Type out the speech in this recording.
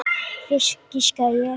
Fisk, giskaði ég.